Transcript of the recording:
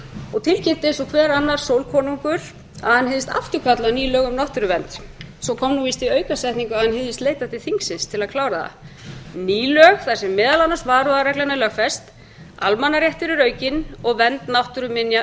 og tilkynnti eins og hver annar sólkonungur að hann hygðist afturkalla ný lög um náttúruvernd svo kom víst í aukasetningu að hann hygðist leita til þingsins til að klára það ný lög þar sem meðal annars varaúðarreglan er lögfest almannaréttur er aukinn og vernd náttúruminja